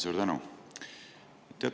Suur tänu!